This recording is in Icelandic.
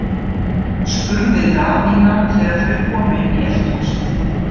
spurði Daðína þegar þau komu inn í eldhúsið.